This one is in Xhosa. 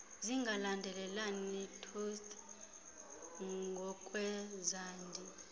zingalandelelani totse ngokwezandi